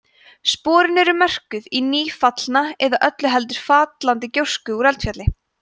sporin eru mörkuð í nýfallna eða öllu heldur fallandi gjósku úr eldfjalli